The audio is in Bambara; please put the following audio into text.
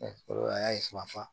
an y'a ye fan